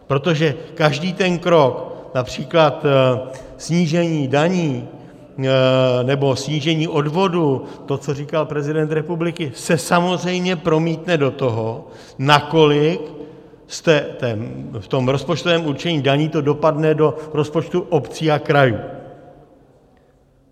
Protože každý ten krok, například snížení daní nebo snížení odvodů, to, co říkal prezident republiky, se samozřejmě promítne do toho, nakolik v tom rozpočtovém určení daní to dopadne do rozpočtu obcí a krajů.